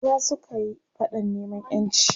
maza sukayi faɗan neman ƴanci